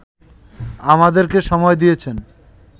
আমাদেরকে সময় দিয়েছেন